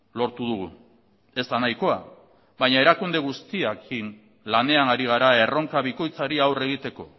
lortu dugu ez da nahikoa baina erakunde guztiekin lanean ari gara erronka bikoitzari aurre egiteko